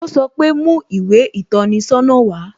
O sọ pe "Mú ìwé ìtọ́ni sọ́nà wá"